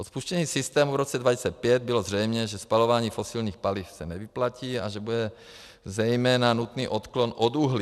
Od spuštění systému v roce 2005 bylo zřejmé, že spalování fosilních paliv se nevyplatí a že bude zejména nutný odklon od uhlí.